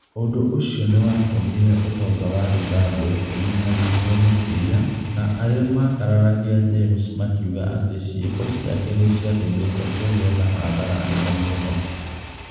Ũndũ ũcio nĩ watũmire ũtonga wa Zimbabwe ũnyihanyihe makĩria, na arĩa makararagia James makiuga atĩ ciĩko ciake nĩ ciatũmĩte kũgĩe na hathara nene mũno.